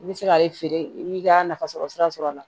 I bɛ se k'ale feere i b'i ka nafasɔrɔ sira sɔrɔ a la